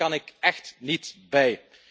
Daar kan ik echt niet bij.